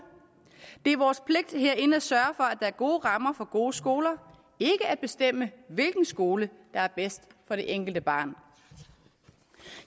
det er vores pligt herinde at sørge for at er gode rammer for gode skoler ikke at bestemme hvilken skole der er bedst for det enkelte barn